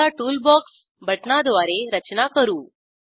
आता टूलबॉक्स बटणाद्वारे रचना करू